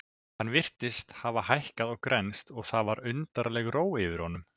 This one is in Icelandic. Hann virtist hafa hækkað og grennst og það var undarleg ró yfir honum.